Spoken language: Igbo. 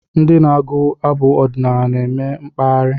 Ndị na-agụ abụ ọdinaala na-eme mkpaghari